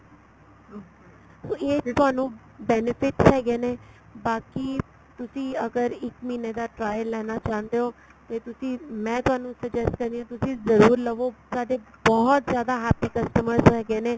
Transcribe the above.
so ਇਹ ਤੁਹਾਨੂੰ benefits ਹੈਗੇ ਨੇ ਬਾਕੀ ਤੁਸੀਂ ਅਗਰ ਤੁਸੀਂ ਇੱਕ ਮਹੀਨੇ ਦਾ trial ਲੈਣਾ ਚਾਉਂਦੇ ਓ ਤੇ ਤੁਸੀਂ ਮੈਂ ਤੁਹਾਨੂੰ suggest ਕਰ ਰਹੀ ਆ ਤੁਸੀਂ ਜਰੂਰ ਲਵੋ ਸਾਡੇ ਬਹੁਤ ਜਿਆਦਾ happy customers ਹੈਗੇ ਨੇ